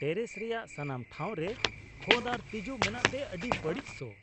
terrace ᱨᱮᱭᱟᱜ ᱥᱟᱱᱟᱢ ᱴᱷᱟᱶ ᱨᱮ ᱠᱷᱚᱫ ᱟᱨ ᱛᱤᱡᱩ ᱢᱮᱱᱟᱜ ᱛᱮ ᱟᱹᱰᱤ ᱵᱟᱹᱲᱤᱡ ᱥᱚ